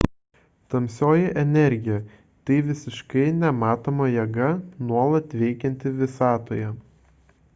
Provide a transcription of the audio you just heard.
tamsioji energija – tai visiškai nematoma jėga nuolat veikianti visatoje